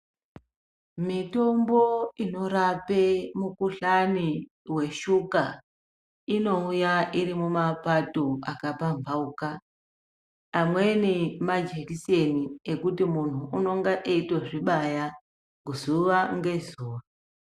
Mitombo inorapa mikuhlani yeshuka inouya iri mumapato akapambauka Amweni majekiseni ekuti muntu unonga eito zvibaya zuwa ngezuwa.